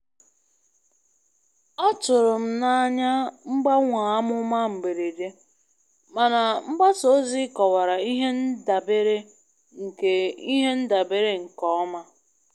ọtụrụ m n'anya mgbanwe amụma mberede, mana mgbasa ozi kọwara ihe ndabere nke ihe ndabere nke ọma.